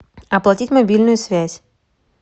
оплатить мобильную связь